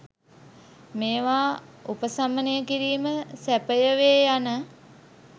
මේවා උපසමනය කිරීම සැපය වේ යන